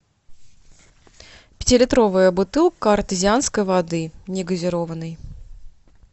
пятилитровая бутылка артезианской воды негазированной